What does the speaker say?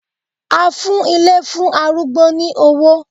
A fún ilé fún arúgbó ní owó